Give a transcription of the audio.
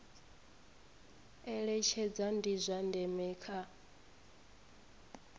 eletshedza ndi zwa ndeme kha